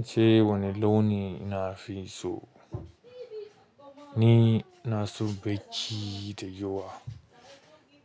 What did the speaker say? Ace wani launi na fi so? Ni ina so bacci da yawa.